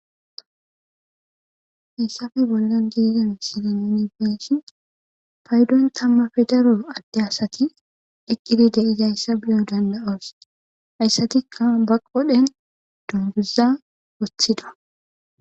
Hassafe bollan giiden silenini feshin paydon tammafe daro adde asati eqqidi de7izayssa biyo danda7oos hayssatikka ba qodhen dunguza woththida.